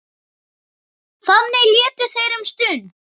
Þannig létu þeir um stund.